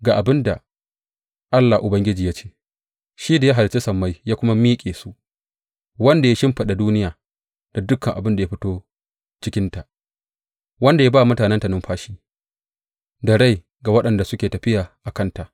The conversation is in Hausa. Ga abin da Allah Ubangiji ya ce, shi da ya halicci sammai ya kuma miƙe su, wanda ya shimfiɗa duniya da dukan abin da ya fito cikinta, wanda ya ba wa mutanenta numfashi, da rai ga waɗanda suke tafiya a kanta.